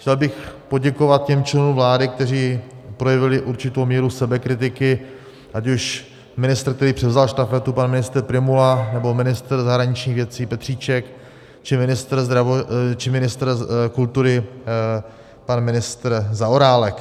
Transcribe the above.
Chtěl bych poděkovat těm členům vlády, kteří projevili určitou míru sebekritiky, ať už ministr, který převzal štafetu, pan ministr Prymula, nebo ministr zahraničních věcí Petříček, či ministr kultury, pan ministr Zaorálek.